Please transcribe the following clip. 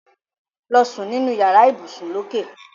Lọ sún nínú yàrá ibùsùn lókè.